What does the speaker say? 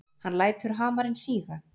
Hann lætur hamarinn síga.